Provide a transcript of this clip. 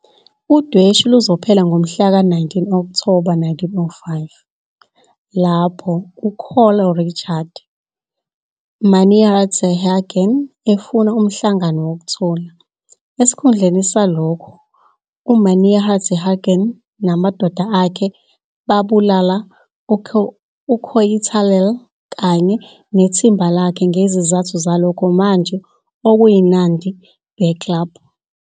Udweshu luzophela ngomhlaka 19 Okthoba 1905, lapho uCol Richard Meinertzhagen efuna umhlangano wokuthula. Esikhundleni salokho, uMeinertzhagen namadoda akhe babulala uKoitalel kanye nethimba lakhe ngezizathu zalokho manje okuyiNandi Bears Club.